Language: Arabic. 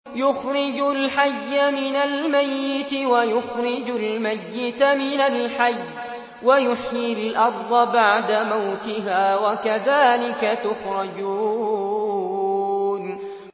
يُخْرِجُ الْحَيَّ مِنَ الْمَيِّتِ وَيُخْرِجُ الْمَيِّتَ مِنَ الْحَيِّ وَيُحْيِي الْأَرْضَ بَعْدَ مَوْتِهَا ۚ وَكَذَٰلِكَ تُخْرَجُونَ